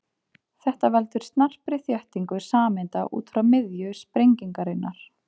Þetta veldur snarpri þéttingu sameinda út frá miðju sprengingarinnar.